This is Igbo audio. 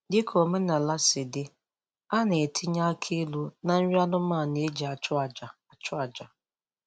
Dịka omenaala sị dị, a na-etinye akị ilu na nri anụmanụ e ji achụ aja achụ aja